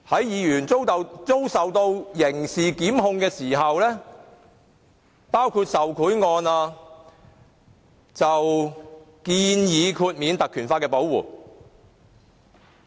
議員如遭受刑事檢控，例如涉及受賄案，建議豁免當地特權條例的保護。